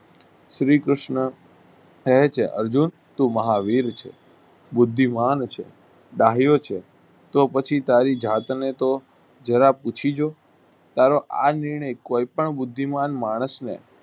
શ્રી કૃષ્ણ કહે છે અર્જુન તું મહાવીર છે. બુદ્ધિમાન છે છે તો પછી તારી જાતનેતો જરા પૂછી તારો આ નિર્ણય કોઈપણ બુદ્ધિમાન માણસને